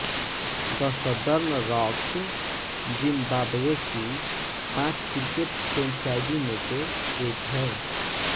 the Southern Rocks Zimbabwe की पांच cricket franchisee में से एक है